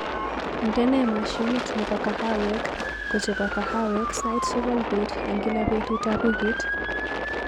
Indenee mashinit nebo kahawek kochebo kahawek sait sokol bet eng gila betutab wikit